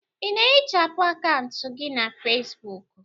Ị na-ehichapụ akaụntụ gị na Fesbuku?